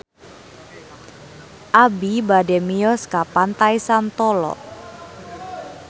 Abi bade mios ka Pantai Santolo